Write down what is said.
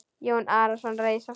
Jón Arason reis á fætur.